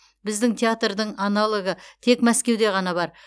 біздің театрдың аналогы тек мәскеуде ғана бар